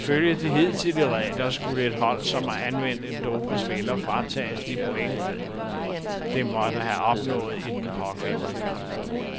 Ifølge de hidtidige regler skulle et hold, som har anvendt en dopet spiller, fratages de point, det måtte have opnået i den pågældende kamp.